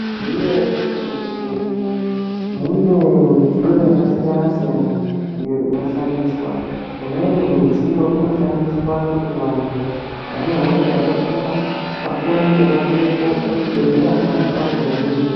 Taiziyei kuti mu zvibhedhleya mune midziyo yaka siyana siyana iyo inoshandiswa imweni midziyo ino shandiswa kuti vantu vane hosha yaka kura vakone ku atirepo pa chibhedhleya pona apapo veyi hinwa.